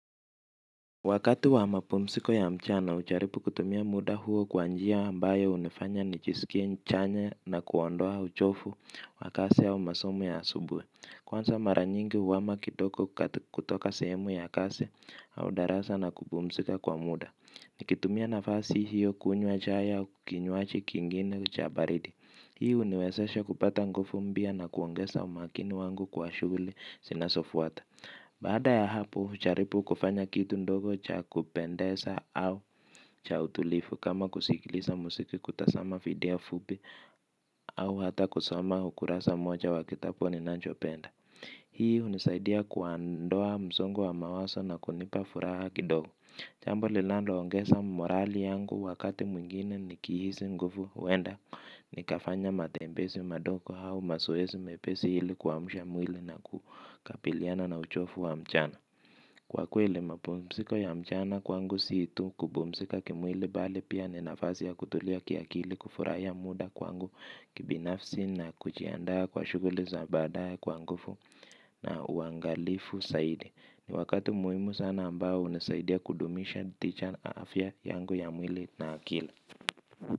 Wakati wa mapumziko ya mchana hujaribu kutumia muda huo kwa njia ambayo hunifanya nijisikie chanya na kuondoa uchovu wakati wa masomo ya asubuhi. Kwanza mara nyingi huhama kidogo kutoka sehemu ya kazi au darasa na kupumzika kwa muda. Nikitumia nafasi hiyo kunywa chai au kinywaji kingine cha baridi hii huniwezesha kupata nguvu mpya na kuongeza umakini wangu kwa shughuli zinazofuata. Baada ya hapo, hujaribu kufanya kitu ndogo cha kupendeza au cha utulivu kama kusikiliza muziki kutazama video fupi au hata kusoma ukurasa moja wa kitabu ninachopenda. Hii hunisaidia kuondoa msongo wa mawazo na kunipa furaha kidogo. Jambo linaloongeza morali yangu wakati mwingine nikihisi nguvu huwenda nikafanya matembezi madogo au mazoezi mepesi ili kuamsha mwili na kukabiliana na uchovu wa mchana. Kwa kweli mapumziko ya mchana kwangu si tu kupumzika kimwili bali pia ni nafasi ya kutulia kiakili kufurahia muda kwangu kibinafsi na kujiandaa kwa shughuli za baadaye kwa nguvu na uangalifu zaidi. Ni wakati muhimu sana ambao unasaidia kudumisha tija na afya yangu ya mwili na akili.